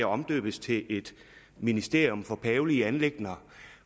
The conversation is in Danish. omdøbes til et ministerium for pavelige anliggender